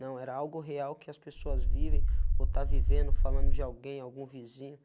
Não, era algo real que as pessoas vivem ou está vivendo, falando de alguém, algum vizinho.